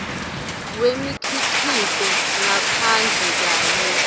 kwemikhicito ngaphandle kanye